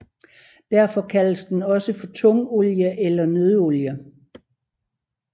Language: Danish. Derfor kaldes den også for tungolie eller nøddeolie